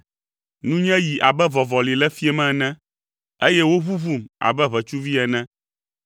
Nunye yi abe vɔvɔli le fiẽ me ene eye woʋuʋum abe ʋetsuvi ene.